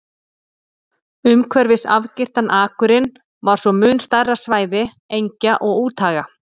Umhverfis afgirtan akurinn var svo mun stærra svæði engja og úthaga.